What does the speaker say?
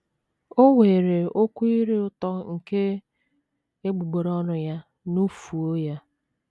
“ O weere okwu ire ụtọ nke egbugbere ọnụ ya nufuo ya. ”